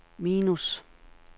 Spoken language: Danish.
minus